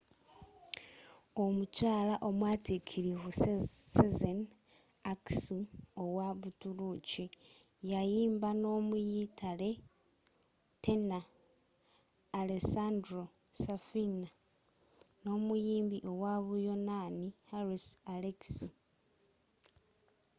omukyaala omwatikirivu sezen aksu owa butuluki yayimba n'omuyitale tenor alessandro safina n'omuyimbi owa buyonaani harris alexiou